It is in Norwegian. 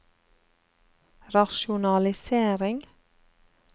rasjonalisering